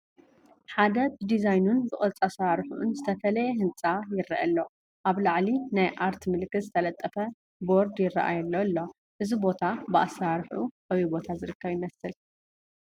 ሓደ ብዲዛይኑን ብቕርፂ ኣሰራርሑኡን ዝተፈለየ ህንፃ ይረአ ኣሎ፡፡ ኣብ ላዕሊ ናይ ኣርት ምልክት ዝተለጠፈ ቦርድ ይረአየሉ ኣሎ፡፡ እዚ ቦታ ብኣሰራርሑኡ ኣበይ ቦታ ዝርከብ ይመስል?